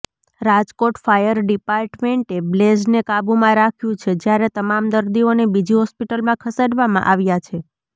Rajkot fire ડિપાર્ટમેન્ટે બ્લેઝને કાબૂમાં રાખ્યું છે જ્યારે તમામ દર્દીઓને બીજી હોસ્પિટલમાં ખસેડવામાં આવ્યા છે